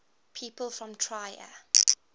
people from trier